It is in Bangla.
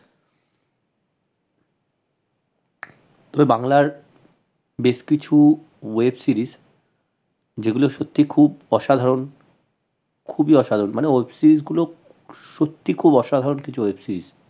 তবে বাংলার বেশ কিছু web series যেগুলো সত্যি খুব অসাধারন খুবই অসাধারন মানে web series গুলো সত্যি খুব অসাধারন কিছু web series